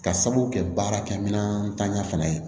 Ka sababu kɛ baarakɛminɛnta fana ye